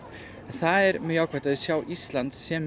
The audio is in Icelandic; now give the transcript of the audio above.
það er mjög jákvætt að þau sjá Ísland sem